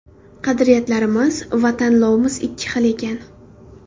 Qadriyatlarimiz va tanlovimiz ikki xil ekan.